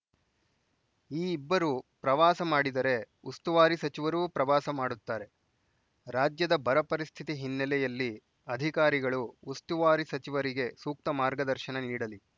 ಈ ಇಬ್ಬರೂ ಪ್ರವಾಸ ಮಾಡಿದರೆ ಉಸ್ತುವಾರಿ ಸಚಿವರೂ ಪ್ರವಾಸ ಮಾಡುತ್ತಾರೆ ರಾಜ್ಯದ ಬರ ಪರಿಸ್ಥಿತಿ ಹಿನ್ನೆಲೆಯಲ್ಲಿ ಅಧಿಕಾರಿಗಳು ಉಸ್ತುವಾರಿ ಸಚಿವರಿಗೆ ಸೂಕ್ತ ಮಾರ್ಗದರ್ಶನ ನೀಡಲಿ